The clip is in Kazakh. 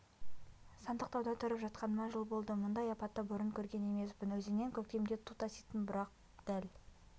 сандықтауда тұрып жатқаныма жыл болды мұндай апатты бұрын көрген емеспін өзеннен көктемде ту таситын бірақ дәл